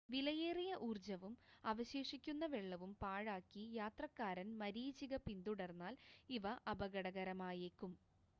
വിലയേറിയ ഊർജ്ജവും അവശേഷിക്കുന്ന വെള്ളവും പാഴാക്കി യാത്രക്കാരൻ മരീചിക പിന്തുടർന്നാൽ ഇവ അപകടകരമായേക്കും